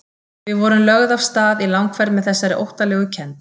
Við vorum lögð af stað í langferð með þessari óttalegu kennd.